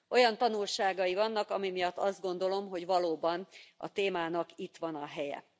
Olyan tanulságai vannak, ami miatt azt gondolom, hogy valóban a témának itt van a helye.